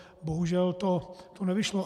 Bohužel to nevyšlo.